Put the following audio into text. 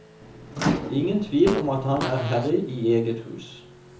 Ingen tvil om at han er herre i eget hus.